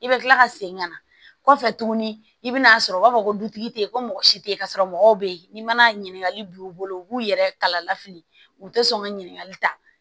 I bɛ kila ka segin ka na kɔfɛ tuguni i bɛ n'a sɔrɔ u b'a fɔ ko dutigi tɛyi ko mɔgɔ si tɛ yen ka sɔrɔ mɔgɔw bɛ yen ni mana ɲiningali b'u bolo u b'u yɛrɛ kala lafili u tɛ sɔn ka ɲininkali ta